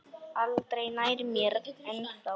Aldrei nær mér en þá.